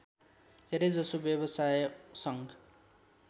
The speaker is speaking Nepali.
धेरै जसो व्यवसायसङ्घ